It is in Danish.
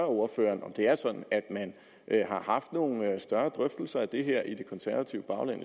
ordføreren om man har haft nogle større drøftelser af det her i det konservative bagland